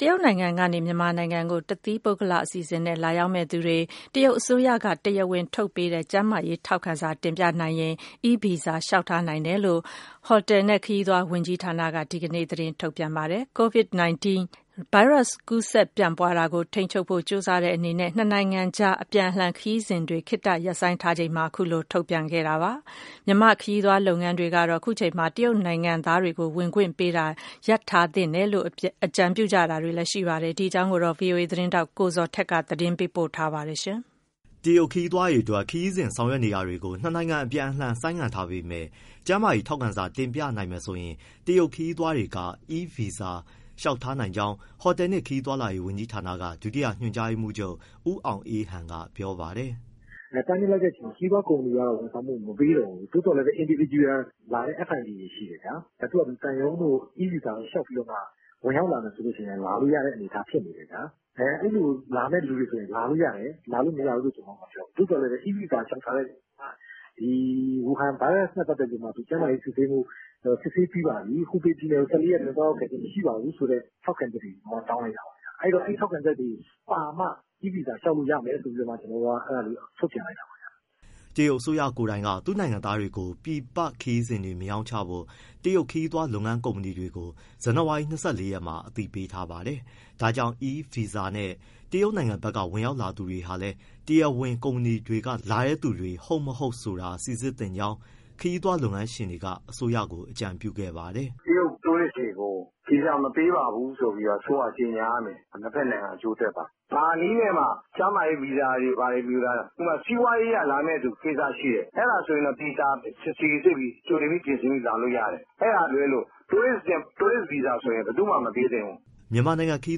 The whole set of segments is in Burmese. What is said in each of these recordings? တရုတ်နိုင်ငံကနေ မြန်မာနိုင်ငံကို တသီးပုဂ္ဂလအစီအစဉ်နဲ့ လာရောက်မယ့်သူတွေ တရုတ်အစိုးရက တရားဝင် ထုတ်ပေးတဲ့ ကျန်းမာရေးထောက်ခံစာ တင်ပြနိုင်ရင် e-visa လျှောက်ထားနိုင်တယ်လို့ ဟိုတယ်နဲ့ခရီးသွား ဝန်ကြီးဌာနက ဒီကနေ့ သတင်းထုတ်ပြန် ပါတယ်။ Covid-19 ဗိုင်းရပ်စ်ပိုး ကူးစက်ပြန့်ပွားတာကို ထိန်းချုပ်ဖို့ ကြိုးစားတဲ့အနေနဲ့ နှစ်နိုင်ငံအကြား အပြန်အလှန်ခရီးစဉ်တွေ ခေတ္တရပ်ဆိုင်းထားချိန်မှာပဲ အခုလို ထုတ်ပြန်တာပါ။ မြန်မာ ခရီးသွားလုပ်ငန်းတွေကတော့ ခုချိန်မှာ တရုတ်နိုင်ငံသားတွေကို ဝင်ခွင့်ပေးတာ ရပ်ထားသင့်တယ်လို့ အကြံပြုကြပါတယ်။ ဒီအကြောင်း ဗွီအိုအေ သတင်းထောက် ကိုဇော်ထက်က သတင်းပေးပို့ထားပါတယ်။ တရုတ်ခရီးသွားတွေအတွက် ခရီးစဉ်ဆောင်ရွက်တာတွေကို နှစ်နိုင်ငံအပြန်အလှန် ဆိုင်းငံ့ထားပေမဲ့ ကျန်းမာရေးထောက်ခံစာတင်ပြနိုင်မယ်ဆိုရင် တရုတ်ခရီးသွားတွေ e-visa လျှောက်ထားနိုင်ကြောင်း ဟိုတယ်နှင့် ခရီးသွားလာရေး ဝန်ကြီးဌာန ဒုတိယ ညွှန်ကြားရေးမှူးချုပ် ဦးအောင်အေးဟန်က ပြောပါတယ်။ “တားမြစ်လိုက်တဲ့အချိန်မှာ ခရီးသွားကုမ္ပဏီတွေကတော့ ဝန်ဆောင်မှု မပေးတော့ဘူး။ သို့သော်လည်း individual လာတဲ့ FIT တွေရှိတယ်ဗျာ၊ သူဖာသူ သံရုံးတို့ e-visa တို့လျှောက်ပြီးတော့ ဝင်ရောက်လာမယ်ဆိုရင်လည်း လာလို့ရတဲ့အနေအထား ဖြစ်နေတယ်ဗျာ။ အဲလိုလာတဲ့သူတွေဆို လာလို့ရတယ်၊ လာလို့မရဘူးလို့မပြောဘူး သို့သော် e-visa လျှောက်ထားရင် ဝူဟန် ဗိုင်းရပ်နဲ့ ပတ်သက်ပြီး ကျန်းမာရေးစစ်ဆေးပြီးပါပြီ၊ ဟူဘေးပြည်နယ်ကို ၁၄ရက်အတွင်း သွားရောက်ခဲ့ခြင်း မရှိပါဘူး ဆိုတဲ့ ထောက်ခံချက်တွေတောင်းလိုက်တာပါဗျ။ အဲဒီ ထောက်ခံချက်တွေပါမှ e-visa လျှောက်လို့ရမယ် ဆိုတာလေး ထုတ်ပြန်လိုက်တာပါ။” တရုတ်အစိုးရကိုယ်တိုင်က သူ့နိုင်ငံသားတွေကို ပြည်ပခရီးစဉ်တွေမရောင်းချဖို့ တရုတ်ခရီးသွားလုပ်ငန်း ကုမ္ပဏီတွေကို ဇန်နဝါရီ ၂၄ရက်မှာ အသိပေးထားပါတယ်။ ဒါကြောင့် e- visa နဲ့ တရုတ်နိုင်ငံဘက်က ဝင်ရောက်လာသူတွေဟာလည်း တရားဝင်ကုမ္ပဏီတွေကနေ လာတဲ့သူတွေ ဟုတ်၊ မဟုတ်ဆိုတာ စိစစ်သင့်ကြောင်း ခရီးသွားလုပ်ငန်းရှင်တွေက အစိုးရကို အကြံပြုခဲ့ပါတယ်။ “တရုတ် Tourist တွေကို ဗီဇာ မပေးပါဘူးဆိုပြီး အစိုးရက ကြေညာရမယ်၊ နှစ်ဘက်နှိင်ငံအကျိုးအတွက်ပါ။ ဘာနည်းနဲ့မှ ကျန်းမာရေး ဗီဇာတွေဘာတွေ၊ ဥပမာ စီးပွားရေးအရ လာမယ့်ကိစ္စရှိသူ အဲဒါဆိုသေချာစိစစ်ပြီး ကြိုတင်ပြင်ဆင်ပြီးလာလို့ရတယ်။ အဲဒါကလွဲလို့ tourist visa ဆိုရင် ဘယ်သူမှ မပေးသင့်ဘူး။” မြန်မာနိုင်ငံခရီး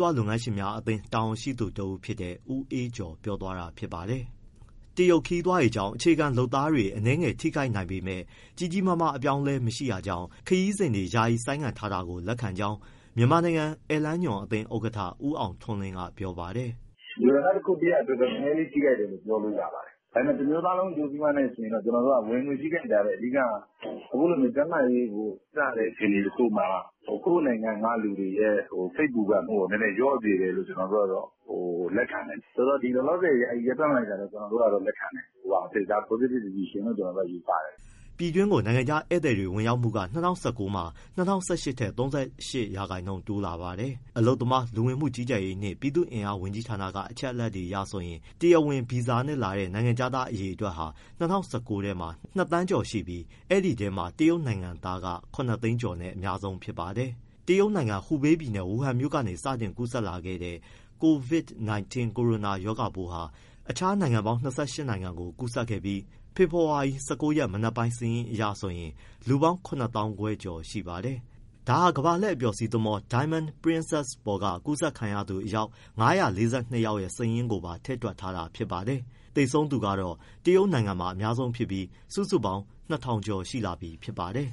သွားလုပ်ငန်းရှင်များအသင်း တာဝန်ရှိသူတဦးဖြစ်တဲ့ ဦးအေးကျော် ပြောသွားတာဖြစ်ပါတယ်။ တရုတ်ခရီးသွားတွေကြောင့် အခြေခံလုပ်သားတွေအနည်းငယ်ထိခိုက်နိုင်ပေမဲ့ ကြီးကြီးမားမား အပြောင်းအလဲမရှိတာကြောင့် ခရီးစဉ်တွေ ယာယီဆိုင်းငံ့ ထားတာကို လက်ခံကြောင်း မြန်မာနိုင်ငံ ဧည့်လမ်းညွှန်အသင်း ဥက္ကဋ္ဌ ဦးအောင်ထွန်းလင်းက ပြောပါတယ်။ “ လူတန်းစားတရပ်အတွက် နည်းနည်းလေးထိခိုက်တယ်လို့ ပြောလို့ရပါတယ်။ ဒါပေမဲ့ တမျိုးသားလုံး အကျိုးစီးပွားနဲ့ ယှဉ်ရင်တော့ ကျနော်တို့က ဝင်ငွေ ထိခိုက်တာထက် အဓိက က အခုလိုကျန်းမာရေးကို ဂရုစိုက်ရတဲ့ အခြေအနေတခုမှာ ကိုယ့်နိုင်ငံက လူတွေရဲ့ စိတ်ပူပန်မှုကို နည်းနည်းလျော့စေတယ်လို့ ကျနော်တို့က လက်ခံတယ်၊ ဆိုတော့ လောလောဆယ် ယာယီရပ်တန့်လိုက်တာကို လက်ခံတယ်မူအားဖြင့်၊ ဒါ positive decision လို့ယူဆတယ်။” ပြည်တွင်းကို နိုင်ငံခြားဧည့်သည်ဝင်ရောက်မှုက ၂၀၁၉ မှာ ၂၀၁၈ ထက် ၃၈% တိုးလာပါတယ်။ အလုပ်သမား၊ လူဝင်မှုကြီးကြပ်ရေးနှင့် ပြည်သူ့အင်အားဝန်ကြီးဌာန အချက်အလက်တွေအရဆိုရင် တရားဝင်ဗီဇာနဲ့လာတဲ့ နိုင်ငံခြားသားအရေအတွက်ဟာ ၂၀၁၉ မှာ ၂သန်းနီးကျော်ရှိပြီး အဲဒီအထဲမှာ တရုတ်နိုင်ငံသားက ၇သိန်းကျော်နဲ့ အများဆုံးဖြစ်ပါတယ်။ တရုတ်နိုင်ငံ၊ ဟူဘေးပြည်နယ်၊ ဝူဟမ်မြို့ကနေ စတင်ကူးစက်လာတဲ့ Covid 19 ကိုရိုနာရောဂါပိုးဟာ အခြားနိုင်ငံပေါင်း ၂၈ နိုင်ငံကိုကူးစက်ခဲ့ပြီး ဖေဖော်ဝါရီ ၁၉ရက် မနက်ပိုင်း စာရင်းအရဆိုရင် လူပေါင်း ၇၅၀၀၀ ကျော်ရှိပါတယ်။ ဒါဟာ ကမ္ဘာလှည့်အပျော်စီးသင်္ဘော Diamond Princess ပေါ်က ကူးစက်ခံရသူ အယောက် ၅၄၂ ယောက်ရဲ့ စာရင်းကိုပါ ထည့်တွက်ထားတာ ဖြစ်ပါတယ်။ သေဆုံးကတော့ တရုတ်နိုင်ငံမှာအများဆုံးဖြစ်ပြီး စုစုပေါင်း ၂၀၀၀ ကျော်ရှိလာပြီ ဖြစ်ပါတယ်။